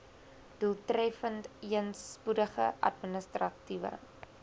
doeltreffendeen spoedige administratiewe